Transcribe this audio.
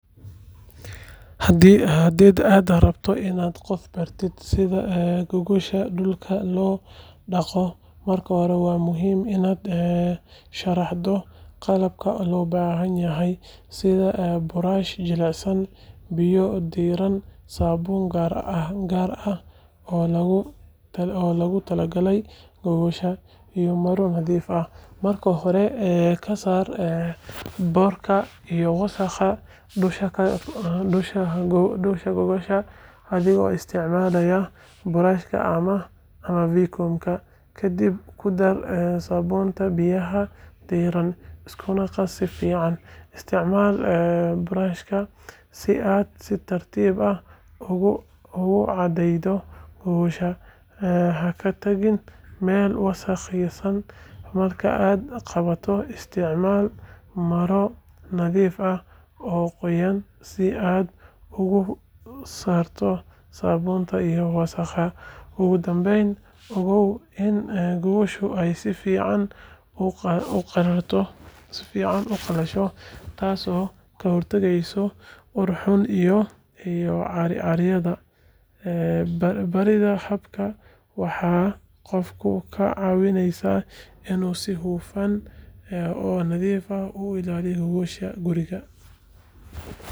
Haddiiad rabto inaad qof baratid sida gogosha dhulka looga dhaqdo, marka hore waa muhiim inaad sharaxdo qalabka loo baahan yahay sida buraash jilicsan, biyo diirran, saabuun gaar ah oo loogu talagalay gogosha, iyo maro nadiif ah. Marka hore, ka saar boodhka iyo wasakhda dusha gogosha adigoo isticmaalaya buraashka ama vacuum-ka. Kadib ku dar saabuunta biyaha diirran, iskuna qas si fiican. Isticmaal buraashka si aad si tartiib ah ugu cadaydo gogosha, ha ka tagin meel wasakhaysan. Marka aad dhaqdo, isticmaal maro nadiif ah oo qoyan si aad uga saarto saabuunta iyo wasakhda. Ugu dambeyn, ogow in gogosha ay si fiican u qalasho, taasoo ka hortagaysa ur xun iyo caaryada. Baridda habkan waxay qofka ka caawinaysaa inuu si hufan oo nadiif ah u ilaaliyo gogosha guriga.